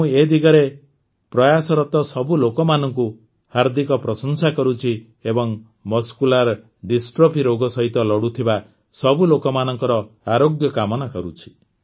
ମୁଁ ଏ ଦିଗରେ ପ୍ରୟାସରତ ସବୁ ଲୋକମାନଙ୍କ ହାର୍ଦ୍ଦିକ ପ୍ରଶଂସା କରୁଛି ଏବଂ ମସ୍କୁଲାର ଡିଷ୍ଟ୍ରଫି ରୋଗ ସହିତ ଲଢ଼ୁଥିବା ସବୁ ଲୋକମାନଙ୍କର ଆରୋଗ୍ୟ କାମନା କରୁଛି